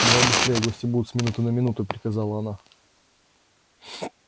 давай быстрее гости будут с минуты на минуту приказала она